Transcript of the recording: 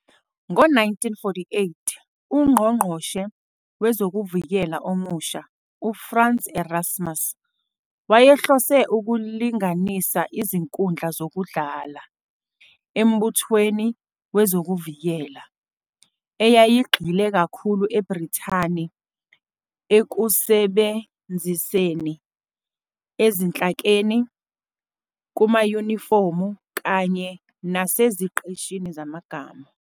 Ngo-1948, uNgqongqoshe Wezokuvikela omusha, uFrans Erasmus, wayehlose 'ukulinganisa izinkundla zokudlala' eMbuthweni Wezokuvikela, eyayigxile kakhulu eBrithani ekusebenziseni, ezinhlakeni, kumayunifomu kanye naseziqeshini zamagama.